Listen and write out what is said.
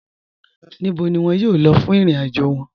Níbò ni wọn yóò lọ̀ fún ìrìn-àjò wọn?